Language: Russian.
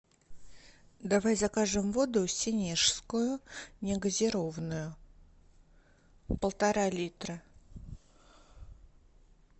давай закажем воду сенежскую негазированную полтора литра